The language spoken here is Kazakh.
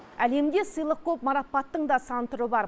әлемде сыйлық көп марапаттың да сан түрі бар